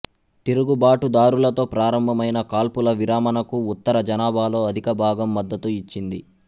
తిరుగుబాటుదారులతో ప్రారంభమైన కాల్పుల విరమణకు ఉత్తర జనాభాలో అధికభాగం మద్దతు ఇచ్చింది